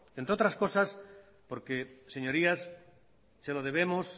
entre otras cosas porque señorías se lo debemos